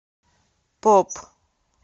поп